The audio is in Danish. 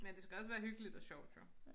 Men det skal også være hyggeligt og sjovt jo